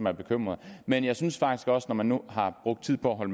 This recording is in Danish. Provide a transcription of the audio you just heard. er bekymret men jeg synes faktisk også at man nu har brugt tid på at